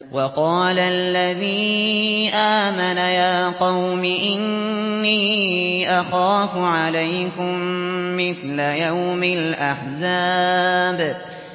وَقَالَ الَّذِي آمَنَ يَا قَوْمِ إِنِّي أَخَافُ عَلَيْكُم مِّثْلَ يَوْمِ الْأَحْزَابِ